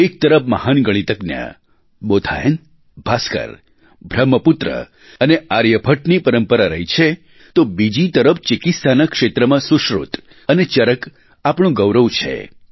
એક તરફ મહાન ગણિતજ્ઞ બોધાયન ભાસ્કર બ્રહ્મપુત્ર અને આર્યભટ્ટની પરંપરા રહી છે તો બીજી તરફ ચિકિત્સાના ક્ષેત્રમાં સુશ્રુત અને ચરક આપણું ગૌરવ છે